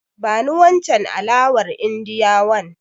Bani wancen alawar Indiyawan.